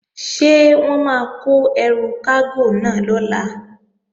Ṣé wọ́n máa kó ẹrù kágò náà lọ̀la?